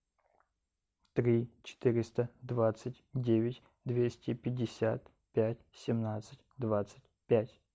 три четыреста двадцать девять двести пятьдесят пять семнадцать двадцать пять